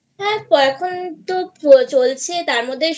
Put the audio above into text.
হ্যাঁ এখন তো চলছে তারমধ্যে